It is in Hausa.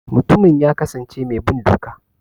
Mutumin ya kasance mai bin doka.